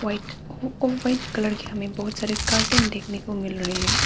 White off white colour के हमें बहुत सारे कर्टन देखने को मिल रहे हैं।